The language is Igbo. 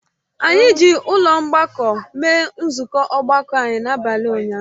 Anyị ji ụlọ mgbakọ mee nzukọ ọgbakọ anyị n'abalị ụnyahụ